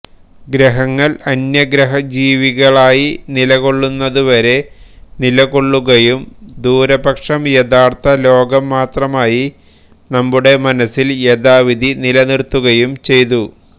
ഗ്രഹങ്ങൾ അന്യഗ്രഹ ജീവികളായി നിലകൊള്ളുന്നതുവരെ നിലകൊള്ളുകയും ദൂരപക്ഷം യഥാർഥ ലോകംമാത്രമായി നമ്മുടെ മനസ്സിൽ യഥാവിധി നിലനിർത്തുകയും ചെയ്തു